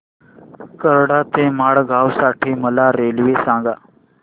कराड ते मडगाव साठी मला रेल्वे सांगा